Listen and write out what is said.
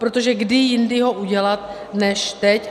Protože kdy jindy ho udělat než teď?